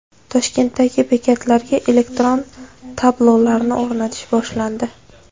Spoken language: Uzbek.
Toshkentdagi bekatlarga elektron tablolarni o‘rnatish boshlandi.